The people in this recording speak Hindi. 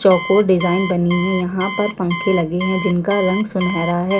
चौकोर डिज़ाइन बनी हुई है यहाँ पर पंखे लगे हुए है जिनका रंग सुनहरा है।